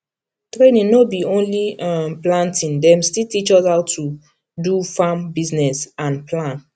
training no be only um planting dem still teach us how to do farm business and plan